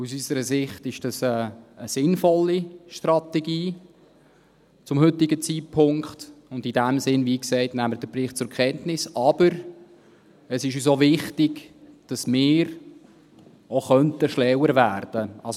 Aus unserer Sicht ist dies zum heutigen Zeitpunkt eine sinnvolle Strategie, und in diesem Sinn nehmen wir den Bericht wie gesagt zur Kenntnis, aber es ist uns auch wichtig, dass wir auch schlauer werden könnten.